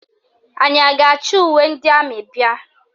Anyị a ga-achị uwe ndị amị bịa?